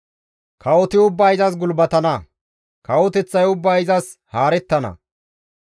Kawoti ubbay izas gulbatana; kawoteththay ubbay izas haarettana.